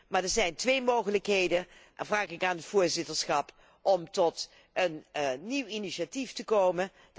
Maar er zijn twee mogelijkheden en ik vraag aan het voorzitterschap om met een nieuw initiatief te komen.